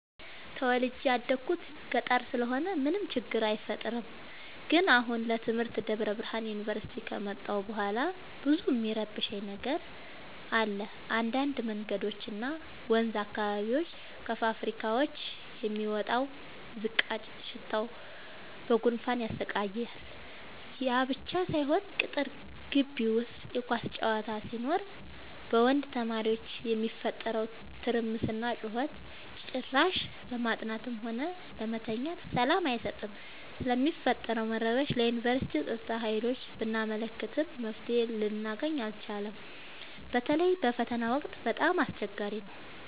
ተወልጄ የደኩት ገጠር ስለሆነ ምንም ችግር አይፈጠርም። ግን አሁን ለትምህርት ደብረብርሃን ዮንቨርሲቲ ከመጣሁ በኋላ ብዙ እሚረብሽ ነገር አለ እንዳድ መንገዶች እና ወንዝ አካባቢ ከፋብካዎች የሚወጣው ዝቃጭ ሽታው በጉንፋን ያሰቃያል። ያብቻ ሳይሆን ቅጥር ጊቢ ውስጥ የኳስ ጨዋታ ሲኖር በወንድ ተማሪዎች የሚፈጠረው ትርምስና ጩኸት ጭራሽ ለማጥናትም ሆነ ለመተኛት ሰላም አይሰጥም። ስለሚፈጠረው መረበሽ ለዮንቨርስቲው ፀጥታ ሀይሎች ብናመለክትም መፍትሔ ልናገኝ አልቻልም። በተለይ በፈተና ወቅት በጣም አስቸገሪ ነው።